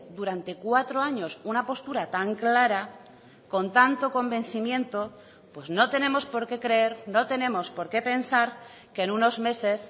durante cuatro años una postura tan clara con tanto convencimiento pues no tenemos por qué creer no tenemos por qué pensar que en unos meses